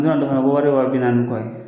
N'a donna ko wari ye wa bi naani ni kɔ ye.